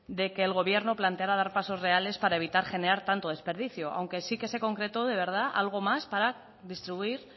de que el gobierno planteara dar pasos reales para evitar generar tanto desperdicio aunque sí que se concretó de verdad algo más para distribuir